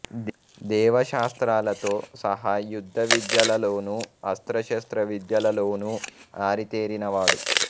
దేవశాస్త్రాలతో సహా యుద్ధ విద్యలలోనూ అస్త్ర శస్త్ర విద్యలలోనూ ఆరి తేరిన వాడు